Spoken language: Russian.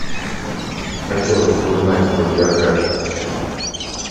хотелось бы узнать его биографию